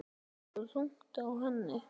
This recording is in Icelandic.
Liggur þungt á henni.